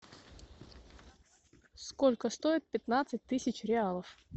сколько стоит пятнадцать тысяч реалов